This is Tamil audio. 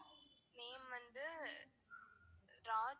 name வந்து ராஜ்.